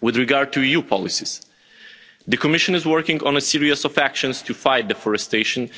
With regard to EU policies, the Commission is working on a series of actions to fight deforestation